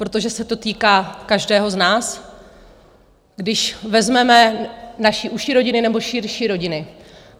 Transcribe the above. Protože se to týká každého z nás, když vezmeme naše užší rodiny nebo širší rodiny.